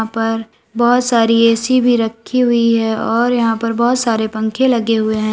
ऊपर बहोत सारी ए_सी भी रखी हुई है और यहां पर बहोत सारे पंखे लगे हुए हैं।